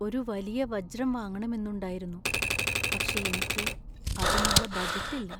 ഒരു വലിയ വജ്രം വാങ്ങണമെന്നുണ്ടായിരുന്നു, പക്ഷേ എനിക്ക് അതിനുള്ള ബജറ്റ് ഇല്ല .